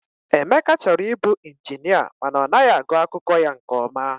Emeka chọrọ ịbụ ịnjinịa mana ọ naghị agụ akwụkwọ ya nke ọma.